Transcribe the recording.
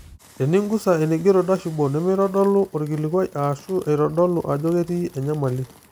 Teningusa eneigero 'dashboard' nemeitodolu orkilikuai, ashu eitodolu ajo ketii enyamali.